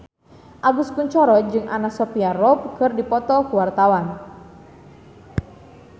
Agus Kuncoro jeung Anna Sophia Robb keur dipoto ku wartawan